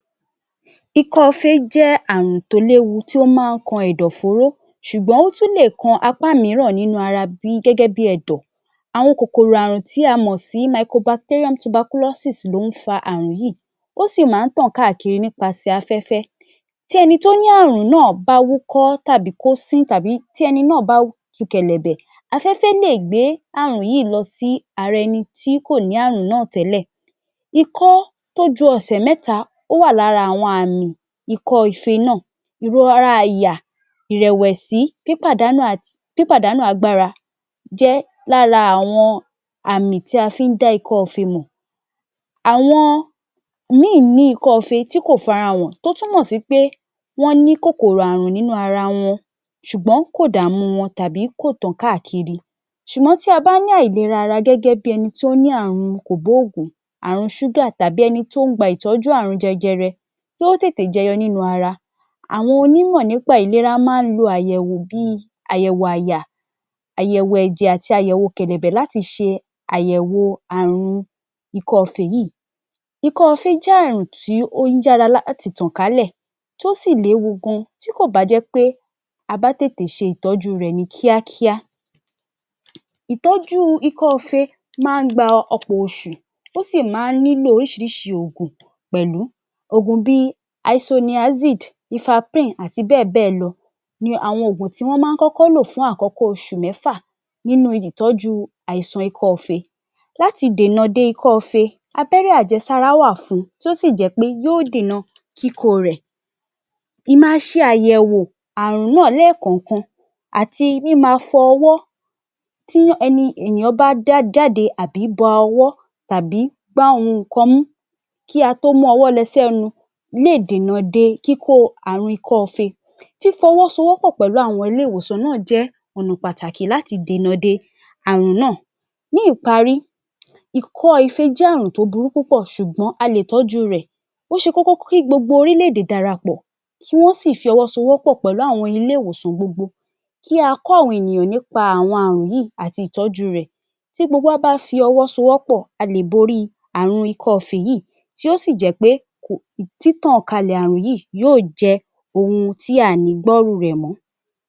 Ikọ́-ife jẹ́ àrùn tó léwu tí ó máa ń kan ẹ̀dọ̀-fóró ṣùgbọ́n ó tún lè kan apá mìíràn nínú ara gẹ́gẹ́ bí ẹ̀dọ̀. Àwọn kòkòrò àrùn tí a mọ̀ sí Micro Bacterium Tuberculosis ló ń fa àrùn yìí. Ó sì máa ń tan káàkiri nípasẹ̀ afẹ́fẹ́ tí ẹni tó ní àrùn náà bá wúkọ́ tàbí kó sín tàbí tí ẹni náà tu kẹ̀lẹ̀bẹ̀, afẹ́fẹ́ lè gbé àrùn yìí lọ sí ara ẹni tí kò ni àrùn náà tẹ́lẹ̀. Ikọ́ tojú ẹsẹ̀ mẹ́ta ó wà lára àwọn àrùn Ikọ́-ife náà. Ìrora àyà, ìrẹ̀wẹ̀sí, pípàdánù àti pípàdánù agbára jẹ́ lára àwọn àmì tí a fí ń dá Ikọ́-ife mọ̀. Àwọn ikọ́-ife tí kò farahàn tó túmọ̀ sí pé wọ́n ní kòkòrò àrùn nínú ara wọn ṣùgbọ́n kò dàmú wọn tàbí kò tàn káàkiri. Ṣùgbọ́n tí a bá ní àìlera gẹ́gẹ́ bí ẹni tí ó ní àrùn kògbóògùn, àrùn sugar tàbí ẹni tí ó ń gba ìtọ́jú àrùn jẹjẹrẹ kí ó tètè jẹyọ nínú ara àwọn onímọ̀ nípa ìlera máa ń lo àyẹ̀wọ̀ bí i àyẹ̀wò àyà, àyẹ̀wò ẹ̀jẹ̀ àti àyẹ̀wò kẹ̀lẹ̀bẹ̀ láti ṣe àyẹ̀wò àrùn ikọ́-ife yìí. Ikọ́-ife jẹ́ àrùn tí ó ń yára láti tàn kálẹ̀ tó sì léwu gan. Tí kò bá jẹ́ pé abá tètè ṣe ìtọ́jú rẹ̀ ni kíákíá. Ìtọ́jú ikọ́-ife máa ń gba ọpọ̀ oṣù tó sì máa ń nílò oríṣiríṣi ògùn pẹ̀lú. Ògùn bí i Isoniazid Lifaprin, àti bẹ́ẹ̀bẹ́ẹ̀ lọ ni àwọn ògùn tí wọ́n má kọ́kọ́ lò fún àkọ́kọ́ oṣù mẹ́fà nínú ìtọ́jú àìsàn ikọ́-ife. Láti dènà de ikọ́-ife, abẹ́rẹ́ àjẹsára wà fun tó sì jẹ́ pé yóò dènà kíkó rẹ̀. Ìma ṣe àyẹ̀wọ̀ àrùn náà lẹ́kọ̀ọ̀kan àti mímafọ ọwọ́ fún ẹni èèyàn bá dá jáde àbí ba ọwọ́ tàbí gbá nǹkan mú kí a tó mú ọwọ́ lọ sí ẹnu lè dènà de kíkó àrùn ikọ́-ife. Fífọwọ́sowọ́pọ̀ pẹ̀lú àwọn ilé-ìwòsàn náà jẹ́ ọ̀nà pàtàkì láti dènà de àrùn náà. Ní ìparí ikọ́-ife jẹ́ àrùn tó burú púpọ̀ ṣùgbọ́n a lè tọ́jú rẹ̀. Ó ṣe kókó kí gbogbo orílẹ̀-èdè darapọ̀, kí wọ́n sì fi ọwọ́ sowọ́pọ̀ pẹ̀lú àwọn ilé-ìwòsàn gbogbo kí a kọ́ àwọn ènìyàn nípa àwọn àrùn yìí àti ìtọ́jú rẹ̀. Tí gbogbo wa bá fi ọwọ́sowọ́pọ̀, a lè borí àrùn ikọ́-ife yìí tí ó sì jẹ́ pé um títàn kalẹ̀ àrùn yìí yóò jẹ́ ohun tí à ní gbọ́rú rẹ̀ mọ́.